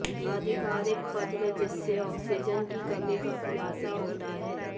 आधिकारिक पत्र जिससे ऑक्सीजन की कमी का खुलासा होता है